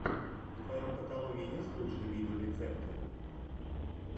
в твоем каталоге есть лучшие видеорецепты